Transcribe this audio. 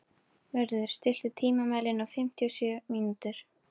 Vörður, stilltu tímamælinn á fimmtíu og sjö mínútur.